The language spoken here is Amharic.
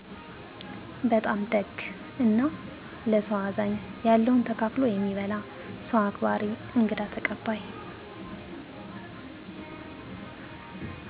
በጣም ደግ እና ለሰዉ አዛኝ ያለዉን ተካፍሎ የሚበላ ሰዉ አክባሪ እንግዳ ተቀባይ